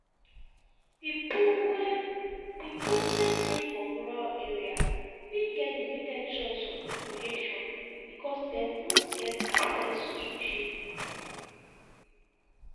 pipo wey pipo wey dey for rural area fit get limited choice of recreation because dem no get access to gym